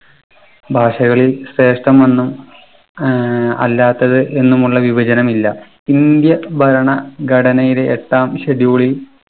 ഭാഷകളിൽ ശ്രേഷ്ഠമെന്ന് ഏർ അല്ലാത്തത് എന്നുമുള്ള വിവജനമില്ല. indian ഭരണഘടനയിലെ എട്ടാം schedule ഇൽ